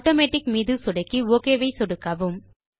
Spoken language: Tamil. ஆட்டோமேட்டிக் மீது சொடுக்கி ஒக் ஐ சொடுக்கவும்